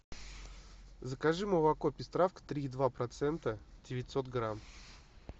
закажи молоко пестравка три и два процента девятьсот грамм